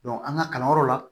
an ka kalanyɔrɔ la